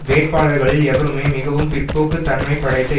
வேட்பாளர்களில் எவருமே மிகவும் பிற்போக்கு தன்மை படைத்த